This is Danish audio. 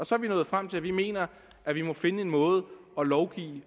så er vi nået frem til at vi mener at vi må finde en måde at lovgive